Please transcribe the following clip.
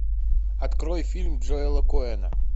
открой фильм джоэла коэна